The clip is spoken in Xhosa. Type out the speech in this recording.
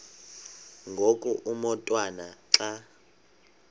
ngoku umotwana xa